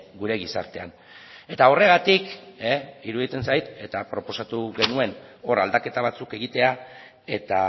gure gizartean eta horregatik iruditzen zait eta proposatu genuen hor aldaketa batzuk egitea eta